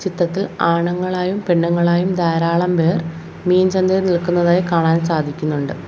ചിത്രത്തിൽ ആണുങ്ങളായും പെണ്ണുങ്ങളായും ധാരാളം പേർ മീൻ ചന്തയിൽ നിൽക്കുന്നതായി കാണാൻ സാധിക്കുന്നുണ്ട്.